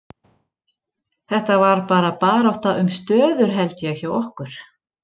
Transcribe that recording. Þetta var bara barátta um stöður held ég hjá okkur.